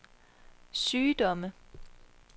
sygdomme